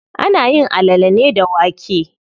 Ana yin alale ne da wake.